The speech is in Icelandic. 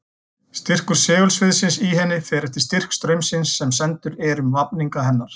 Styrkur segulsviðsins í henni fer eftir styrk straumsins sem sendur er um vafninga hennar.